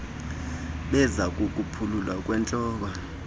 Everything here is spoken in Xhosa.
beze ukuphululwa kwentloko